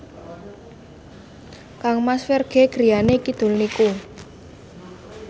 kangmas Ferdge griyane kidul niku